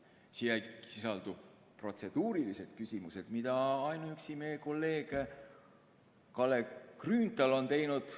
Siin ei sisaldu protseduurilised küsimused, mida ainuüksi meie kolleeg Kalle Grünthal on teinud ...